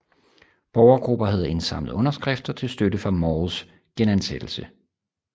Borgergrupper havde indsamlet underskrifter til støtte for Mauls genansættelse